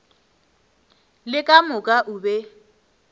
le ka moka o be